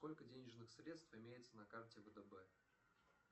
сколько денежных средств имеется на карте втб